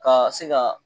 Ka se ka